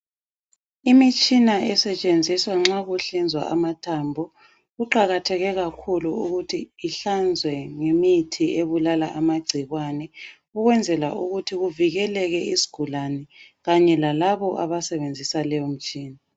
Imitshina esentshenziswa nxa kuhlinzwa amathambo kuqakathekile ukuthi ihlanzwe ngemithi ebulala amagcikwane ukwenzela ukuthi kuvikeleke isigulane Kanye lalabo abasebenzisa leyo mtshina.